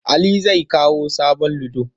Ali zai kawo sabon ludo.